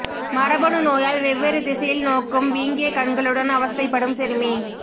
மரபணு நோயால் வெவ்வேறு திசையில் நோக்கும் வீங்கிய கண்களுடன் அவஸ்தைப்படும் சிறுமி